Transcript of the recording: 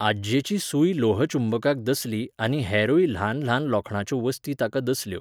आज्जेची सूय लोहचुंबकाक दसली आनी हेरूय ल्हानल्हान लोखणाच्यो वस्ती ताका दसल्यो.